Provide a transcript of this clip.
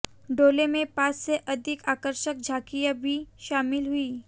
डोले में पांच से अधिक आकर्षक झांकियां भी शामिल हुई